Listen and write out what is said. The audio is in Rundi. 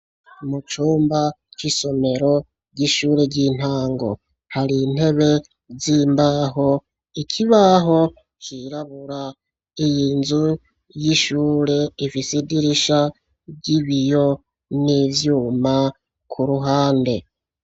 Mu cumba c'isomero ry'ishure ry'intango, har'intebe z'imbaho, ikibaho cirabura, iyi nzu y'ishure ifise idirisha ry'ibiyo n'ivyuma ku ruhande.